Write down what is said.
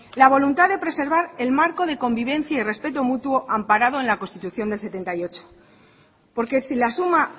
la voluntad de preservar el marco de convivencia y respeto mutuo amparado en la constitución del setenta y ocho porque si la suma